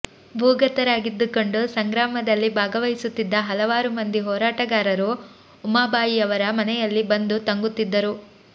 ಭೂಗತರಾಗಿದ್ದುಕೊಂಡು ಸಂಗ್ರಾಮದಲ್ಲಿ ಭಾಗವಹಿಸುತ್ತಿದ್ದ ಹಲವಾರು ಮಂದಿ ಹೋರಾಟಗಾರರು ಉಮಾಬಾಯಿಯವರ ಮನೆಯಲ್ಲಿ ಬಂದು ತಂಗುತ್ತಿದ್ದರು